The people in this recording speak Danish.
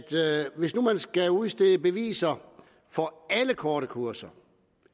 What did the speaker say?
hvis der skal udstedes beviser for alle korte kurser